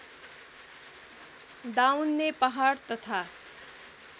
दाउन्ने पहाड तथा